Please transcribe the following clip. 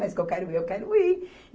Mas que eu quero ir, eu quero ir.